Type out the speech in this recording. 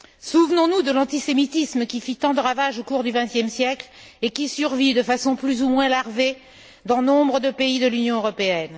Souvenons nous de l'antisémitisme, qui fit tant de ravages au cours du vingtième siècle et qui survit de façon plus ou moins larvée dans nombre de pays de l'Union européenne.